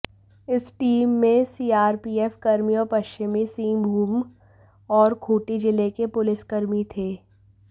इस टीम में सीआरपीएफ कर्मी और पश्चिमी सिंहभूम और खूंटी जिले के पुलिसकर्मी थे